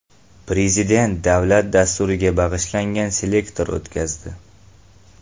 Prezident davlat dasturiga bag‘ishlangan selektor o‘tkazdi.